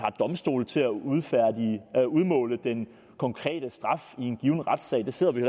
domstolene til at udmåle den konkrete straf i en given retssag det sidder vi